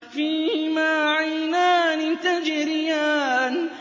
فِيهِمَا عَيْنَانِ تَجْرِيَانِ